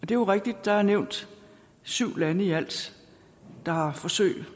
det er rigtigt og der er nævnt syv lande i alt der har forsøg